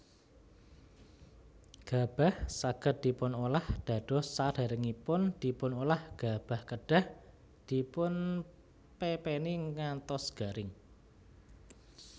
Gabah saged dipunolah dados Sadèrèngipun dipunolah gabah kedah dipunpépéni ngantos garing